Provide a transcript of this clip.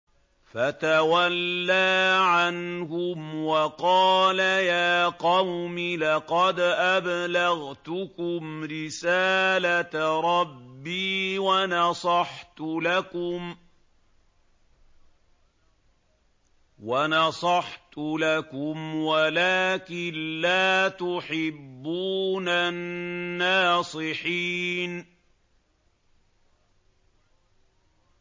فَتَوَلَّىٰ عَنْهُمْ وَقَالَ يَا قَوْمِ لَقَدْ أَبْلَغْتُكُمْ رِسَالَةَ رَبِّي وَنَصَحْتُ لَكُمْ وَلَٰكِن لَّا تُحِبُّونَ النَّاصِحِينَ